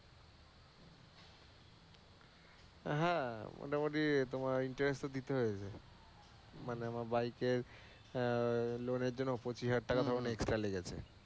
হ্যাঁ, মোটামুটি তোমার interest তো দিতে হয়েছে। মানে আমার বাইক এর আহ লোণের জন্য পঁচিশ হাজার টাকা আমার extra লেগেছে।